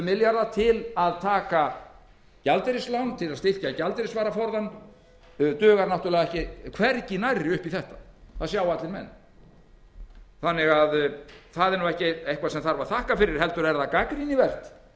milljarða til að taka gjaldeyrislán til að styrkja gjaldeyrisvaraforðann duga náttúrlega hvergi nærri upp í þetta það sjá allir menn það er nú ekki neitt sem á að þakka fyrir heldur er það gagnrýnisvert